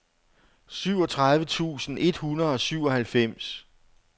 syvogtredive tusind et hundrede og syvoghalvfems